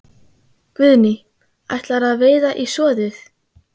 Guðný: Ætlarðu að veiða í soðið?